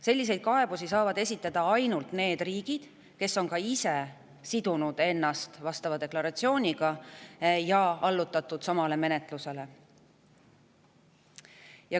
Selliseid kaebusi saavad esitada ainult need riigid, kes on ka ise sidunud ennast vastava deklaratsiooniga ja kes on allutatud samale menetlusele.